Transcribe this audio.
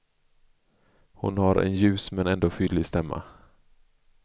Hon har en ljus men ändå fylliga stämma.